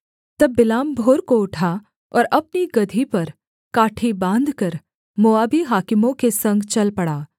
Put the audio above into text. तब बिलाम भोर को उठा और अपनी गदही पर काठी बाँधकर मोआबी हाकिमों के संग चल पड़ा